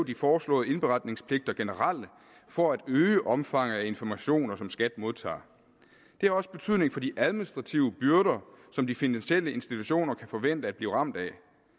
de foreslåede indberetningspligter generelle for at øge omfanget af informationer som skat modtager det har også betydning for de administrative byrder som de finansielle institutioner kan forvente at blive ramt af